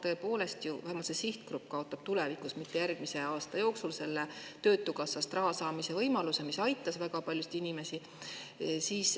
Tõepoolest, vähemalt see sihtgrupp kaotab tulevikus, küll mitte järgmise aasta jooksul, töötukassast raha saamise võimaluse, mis aitab väga paljusid inimesi.